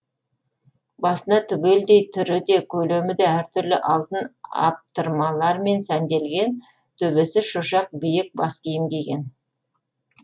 басына түгелдей түрі де көлемі де әр түрлі алтын аптырмалармен сәнделген төбесі шошақ биік бас киім киген